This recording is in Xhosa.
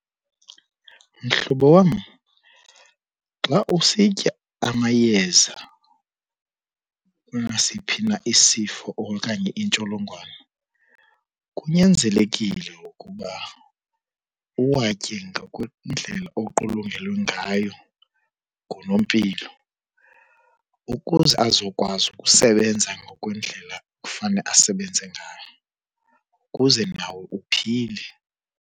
Mhlobo wam, xa usitya amayeza unasiphi na isifo okanye intsholongwane kunyanzelekile ukuba uwatye ngokwendlela oqulungelwe ngayo ngunompilo ukuze azokwazi ukusebenza ngokwendlela ekufane asebenze ngayo ukuze nawe uphile.